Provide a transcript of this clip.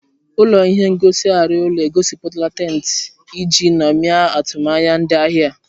Ụlọ ihe ngosi arịa ụlọ egosipụtara tent iji ṅomie atụmanya ndị ahịa ha.